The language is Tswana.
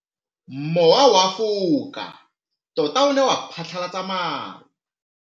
Mowa o wa go foka tota o ne wa phatlalatsa maru.